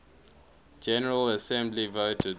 general assembly voted